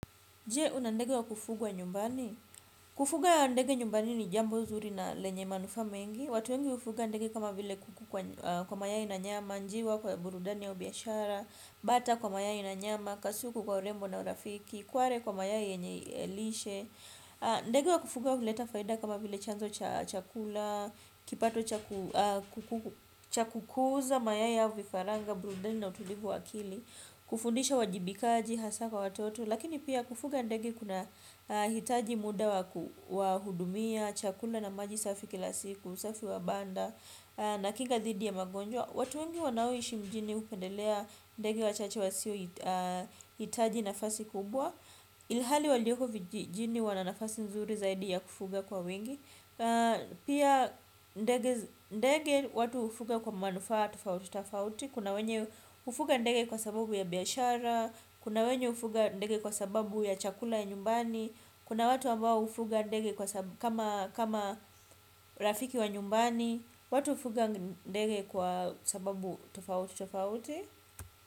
Je, una ndege wa kufugwa nyumbani? Kufuga ndege nyumbani ni jambo zuri na lenye manufaa mengi. Watu wengi hufuga ndege kama vile kuku kwa mayai na nyama, njiwa kwa burudani au biashara, bata kwa mayai na nyama, kasuku kwa urembo na urafiki, kware kwa mayai yenye lishe. Ndege wa kufuga huleta faida kama vile chanzo cha chakula, kipato cha kukuuza, mayai au vifaranga, burudani na utulivu wa akili kufundisha uwajibikaji, hasa kwa watoto. Lakini pia kufuga ndege kunahitaji muda wa kuhudumia, chakula na maji safi kila siku, usafi wa banda nakinga dhidi ya magonjwa. Watu wengi wanaoishi mjini hupendelea ndege wachache wasiohitaji nafasi kubwa. Ilhali walioko vijijini wana nafasi nzuri zaidi ya kufuga kuwa wengi. Pia ndege watu hufuga kwa manufaa tofauti tofauti. Kuna wenye hufuga ndege kwa sababu ya biashara. Kuna wenye hufuga ndege kwa sababu ya chakula ya nyumbani. Kuna watu ambao hufuga ndege kama rafiki wa nyumbani. Watu hufuga ndege kwa sababu tofauti tofauti.